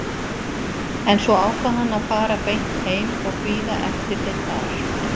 En svo ákvað hann að fara beint heim og bíða eftir þeim þar.